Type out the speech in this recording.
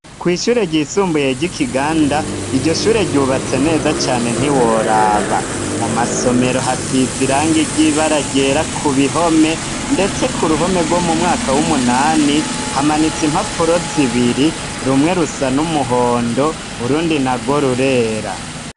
Kw'ishure ryisumbuye ry'Ikiganda, iryo shure ryubatse neza cane ntiworaba. Mu masomero hasize irangi ry'ibara ryera ku bihome ndetse ku ruhome rwo mu mwaka w'umunani, hamanitse impapuro zibiri, rumwe rusa n'umuhondo, urundi narwo rurera.